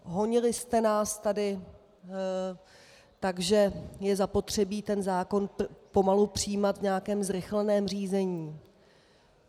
Honili jste nás tady tak, že je zapotřebí ten zákon pomalu přijímat v nějakém zrychleném řízení.